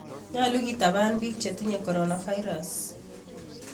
Nyolu kitabaan piik chetinye coronavirus